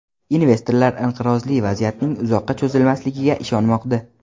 Investorlar inqirozli vaziyatning uzoqqa cho‘zilmasligiga ishonmoqda.